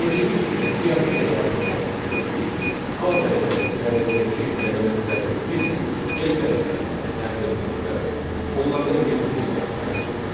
Gördüyünüz kimi siyahı generatoru vasitəsilə biz a dəyişəninin dəyərindəki elementləri bir-bir n dəyişənnə təyin etməklə onlardan yeni bir siyahı tərtib etdik